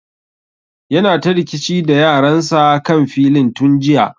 Yana ta rikici da yaran sa kan filin tun jiya